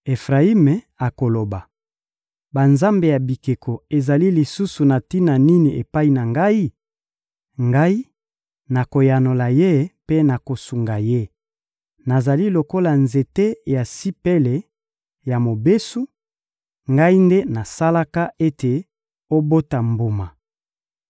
Efrayimi akoloba: «Banzambe ya bikeko ezali lisusu na tina nini epai na Ngai?» Ngai nakoyanola ye mpe nakosunga ye. Nazali lokola nzete ya sipele ya mobesu, Ngai nde nasalaka ete obota mbuma.